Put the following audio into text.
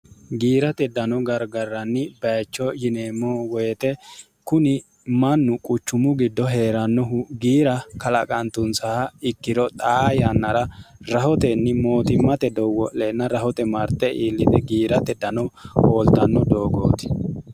giirate dano gargarranni bayicho yineemmo woyite kuni mannu quchumu giddo hee'rannohu giira kalaqantunsaha ikkiro xaa yannara rahotenni mootimmate doowwo leenna rahote marte iillite giirate dano hooltanno doogooti